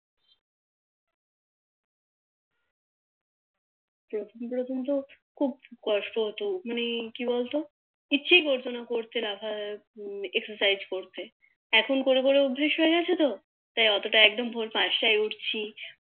প্রথম প্রথম তো খুব কষ্ট হতো উঠতে কি বলতো ইচ্ছে করতো না Exercise করতে এখন করে করে অভ্যাস হয়ে গেছে তো তাই অতটা একদম ভোর পাঁচটায় উঠছি